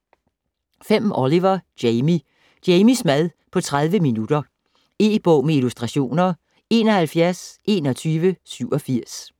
Oliver, Jamie: Jamies mad på 30 minutter E-bog med illustrationer 712187